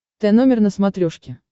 тномер на смотрешке